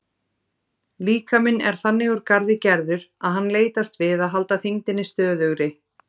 Líkaminn er þannig úr garði gerður að hann leitast við að halda þyngdinni stöðugri.